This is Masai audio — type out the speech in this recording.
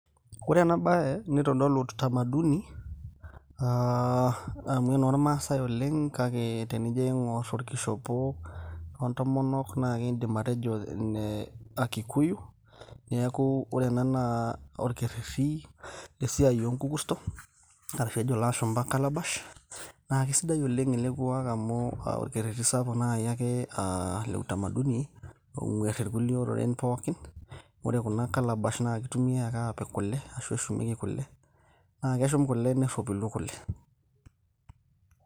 ore ena baye nitodolu utamaduni aa amu enormaasay oleng kake tenijo aing'orr orkishopo oontomonok naa kiindim atejo ine akikuyu neeku ore ena naa orkerreri esiai oonkukurto arashu ejo ilashumba calabash naa kisidai oleng ele kuak amu orkerreti sapuk naaji ake aa le utamaduni ong'uerr irkulie oreren pookin ore kuna clabash naa kitumiay ake apik kule ashu eshumieki kule naa keshum kule nerropilu kule.